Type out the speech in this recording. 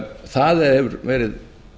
það hefur verið